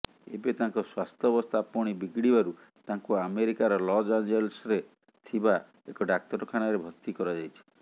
ଏବେ ତାଙ୍କ ସ୍ୱାସ୍ଥ୍ୟାବସ୍ଥା ପୁଣି ବିଗିଡ଼ିବାରୁ ତାଙ୍କୁ ଆମେରିକାର ଲସ୍ ଆଞ୍ଜେଲସ୍ରେ ଥିବା ଏକ ଡ଼ାକ୍ତରଖାନାରେ ଭର୍ତ୍ତି କରାଯାଇଛି